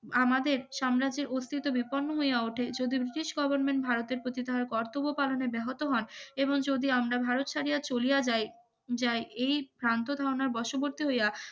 আমাদের সাম্রাজ্যের অস্তিত্ব বিপন্ন হইয়া ওঠে যদি ব্রিটিশ Government ভারতের প্রতি কর্তব্য পালনে ব্যাহত হন এবং যদি আমরা ভারত ছাড়িয়া ঝুলিয়ে যায় যায় এই ভ্রান্ত ধারণার বশবর্তী হইয়া